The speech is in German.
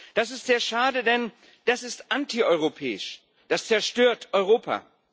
Das ist sehr schade, denn das ist antieuropäisch, das zerstört Europa.